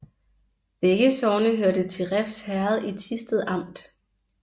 Begge sogne hørte til Refs Herred i Thisted Amt